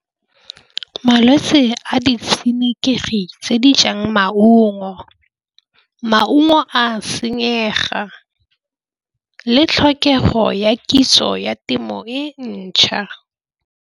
Malwetse a di tshenekegi tse di jang maungo. Maungo a senyega le tlhokego ya kitso ya temo e ntšha.